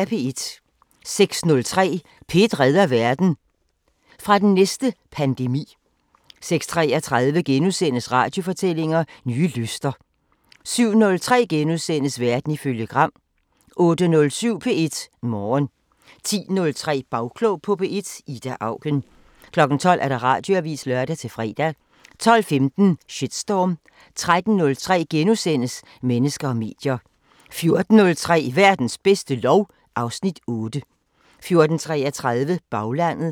06:03: P1 redder verden: Fra den næste pandemi 06:33: Radiofortællinger: Nye lyster * 07:03: Verden ifølge Gram * 08:07: P1 Morgen 10:03: Bagklog på P1: Ida Auken 12:00: Radioavisen (lør-fre) 12:15: Shitstorm 13:03: Mennesker og medier * 14:03: Verdens bedste lov (Afs. 8) 14:33: Baglandet